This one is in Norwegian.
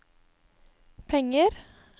penger